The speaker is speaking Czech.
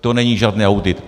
To není žádný audit.